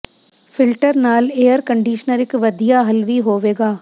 filter ਨਾਲ air conditioner ਇਕ ਵਧੀਆ ਹੱਲ ਵੀ ਹੋਵੇਗਾ